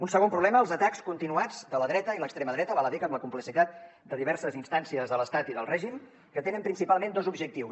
un segon problema els atacs continuats de la dreta i l’extrema dreta val a dir que amb la complicitat de diverses instàncies de l’estat i del règim que tenen principalment dos objectius